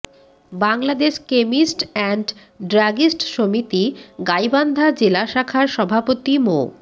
Bangladesh chemist and druggist সমিতি গাইবান্ধা জেলা শাখার সভাপতি মো